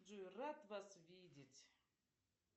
джой рад вас видеть